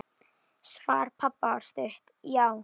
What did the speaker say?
Svar pabba var stutt: Já!